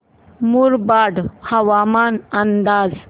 मुरबाड हवामान अंदाज